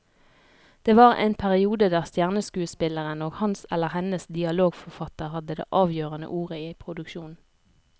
Det var en periode der stjerneskuespilleren og hans eller hennes dialogforfatter hadde det avgjørende ordet i produksjonen.